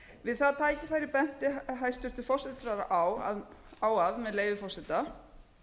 við það tækifæri benti hæstvirtur forsætisráðherra á með leyfi forseta